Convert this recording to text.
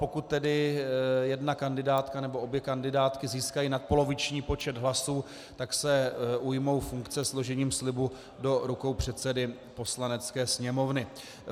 Pokud tedy jedna kandidátka nebo obě kandidátky získají nadpoloviční počet hlasů, tak se ujmou funkce složením slibu do rukou předsedy Poslanecké sněmovny.